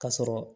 Ka sɔrɔ